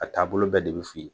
A taabolo bɛɛ de bi f'i ye.